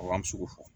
an bɛ se k'o fɔ